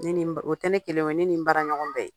Ne ni n ba o tɛ ne kelen ye. O ye ne ni n baaraɲɔgɔn bɛ ye.